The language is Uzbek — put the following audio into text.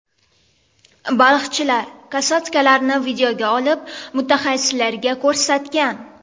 Baliqchilar kosatkalarni videoga olib, mutaxassislarga ko‘rsatgan.